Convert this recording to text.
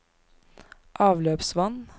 avløpsvann